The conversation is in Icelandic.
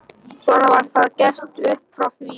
Svona var það gert upp frá því.